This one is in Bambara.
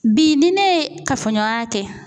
Bi ni ne ye kafoɲɔgɔnya kɛ